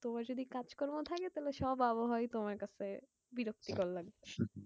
তোমার যদি কাজ কর্ম থাকে তাহলে সব আবহাওয়াই তোমার কাছে বিরক্তিকর লাগবে।